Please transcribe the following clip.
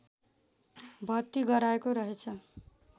भर्ती गराएको रहेछ